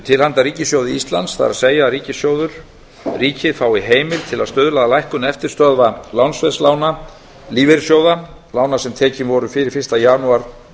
til handa ríkissjóði íslands það er að ríkissjóður ríkið fái heimild til að stuðla að lækkun eftirstöðva lánsveðslána lífeyrissjóða lána sem tekin voru fyrir fyrsta janúar